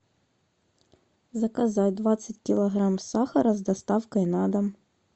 заказать двадцать килограмм сахара с доставкой на дом